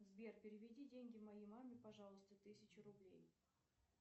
сбер переведи деньги моей маме пожалуйста тысячу рублей